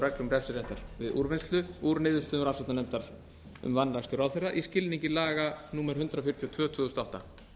reglum refsiréttar við úrvinnslu úr niðurstöðum rannsóknarnefndar um vanrækslu ráðherra í skilningi laga númer hundrað fjörutíu og tvö tvö þúsund og átta